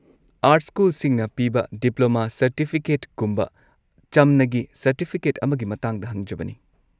Art ꯁ꯭ꯀꯨꯜꯁꯤꯡꯅ ꯄꯤꯕ diploma ꯁꯔꯇꯤꯐꯤꯀꯦꯠꯀꯨꯝꯕ ꯆꯝꯅꯒꯤ ꯁꯔꯇꯤꯐꯤꯀꯦꯠ ꯑꯃꯒꯤ ꯃꯇꯥꯡꯗ ꯍꯪꯖꯕꯅꯤ ꯫